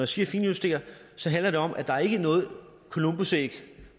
siger finjusterer handler det om at der ikke er noget columbusæg